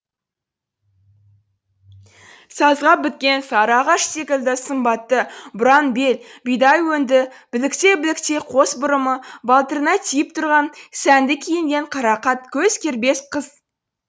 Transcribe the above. сазға біткен сары ағаш секілді сымбатты бұраң бел бидай өңді білектей білектей қос бұрымы балтырына тиіп тұрған сәнді киінген қарақат көз кербез қыз